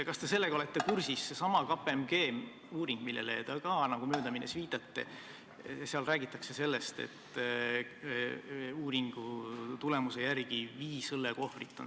Kas te sellega olete kursis, et sellessamas KPMG uuringus, millele te nagu möödaminnes viitasite, on kirjas, et keskmiselt tuuakse kaasa viis õllekohvrit.